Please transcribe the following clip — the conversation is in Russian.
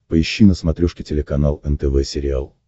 поищи на смотрешке телеканал нтв сериал